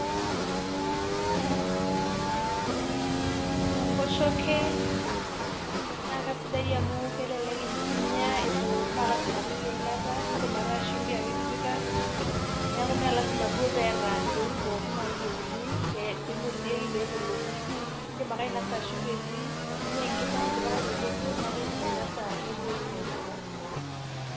Kiibung' enkoshoke naa kasidai amu kelelek inya eitu, mee lasima piipik eilata, iindim ataa shumbi ake itipika neeku mee lasima duo peeta intokiting' pookin naayieuni piinosieki pee emelonu, iindim ake ainasa shumbi etii eing'uaa enkima indipa ake otokitokie, neeku iindim ainasa metii aai toki nitipika.